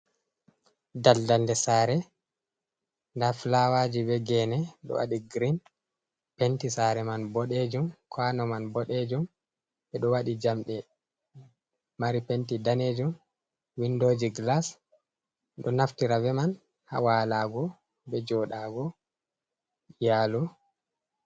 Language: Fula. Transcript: Daldal, der sare da fulawa jii be geene dowaɗi gerin Penti sare man boɗeejum kwano man be do waɗi jamɗe penti man daneejum windo jii gilas ɓe do naftira be man ha walugo be joɗugo iyaalu.